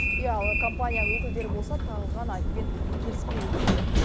иә ал компания өкілдері болса тағылған айыппен келіспей отыр екен